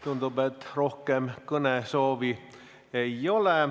Tundub, et rohkem kõnesoovi ei ole.